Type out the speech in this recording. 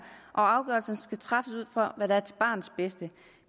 og afgørelsen skal træffes ud fra hvad der er til barnets bedste